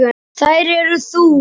Þær eru þú.